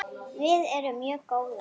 Við erum mjög góðar.